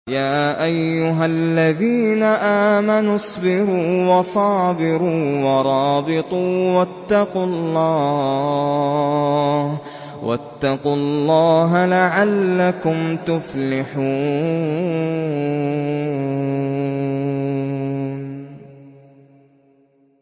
يَا أَيُّهَا الَّذِينَ آمَنُوا اصْبِرُوا وَصَابِرُوا وَرَابِطُوا وَاتَّقُوا اللَّهَ لَعَلَّكُمْ تُفْلِحُونَ